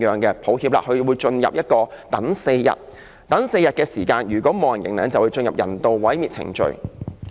這些動物在4天等待期沒有人認領，便會進入人道毀滅程序。